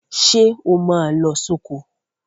Ṣé o máa lọ sóko.?